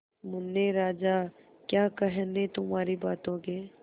मुन्ने राजा क्या कहने तुम्हारी बातों के